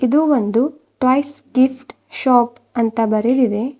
ಇದು ಒಂದು toys gift shop ಅಂತ ಬರೆದಿದೆ.